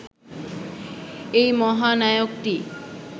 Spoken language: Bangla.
এই মহানায়কটি